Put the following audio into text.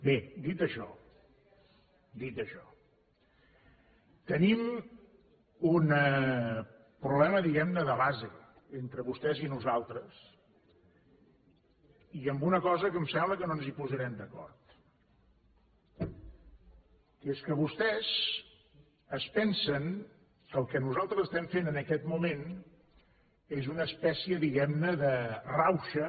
bé dit això dit això tenim un problema diguem ne de base entre vostès i nosaltres i una cosa que em sembla que no ens hi posarem d’acord que és que vostès es pensen que el que nosaltres estem fent en aquest moment és una espècie diguem ne de rauxa